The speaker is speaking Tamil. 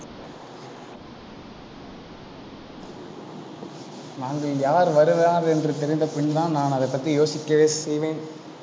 நாங்கள் யார் வருகிறார்கள் என்று தெரிந்த பின்தான், நான் அதைப் பற்றி யோசிக்கவே செய்வேன்.